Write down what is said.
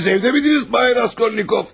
Siz evdə miydiniz bay Raskolnikov?